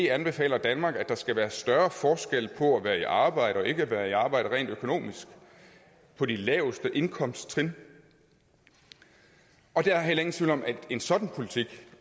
anbefaler danmark at der skal være større forskel på at være i arbejde og ikke at være i arbejde rent økonomisk på de laveste indkomsttrin og der er heller ikke nogen tvivl om at en sådan politik